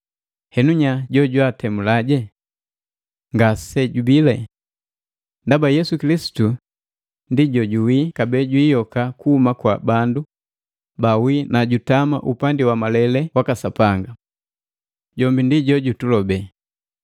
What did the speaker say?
Henu nya jojwaatemula? Ngasejubii. Ndaba Yesu Kilisitu ndi jojuwii kabee jwayoka kuhuma kwa bandu baawii na jutama upandi wa malele waka Sapanga. Jombi ndi jojututulobe!